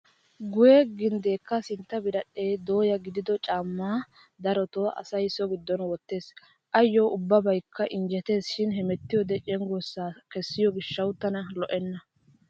Guyye ginddeekka sintta biradhdhee dooya gidido caammay darotoo asay so giddon wottees. Ayyo ubbabaykka injjeteesshin hemettiyoodee cenggurssaa kessiyoo gishsawu tana lo"enna.